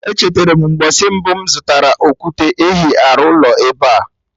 Echeterem mgbọsị mbụ mụ zụtara okwute ehi arụ ụlọ ebea